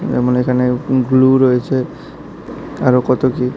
এবং এখানে গ্লু রয়েছে এবং আরো কত কি--